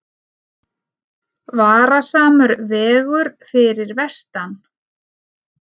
Varasamur vegur fyrir vestan